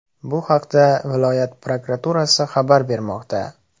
Bu haqda viloyat prokuraturasi xabar bermoqda .